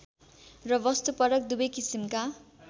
र वस्तुपरक दुवै किसिमका